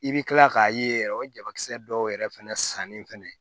I bɛ tila k'a ye yɛrɛ o jabakisɛ dɔw yɛrɛ fɛnɛ sannen fɛnɛ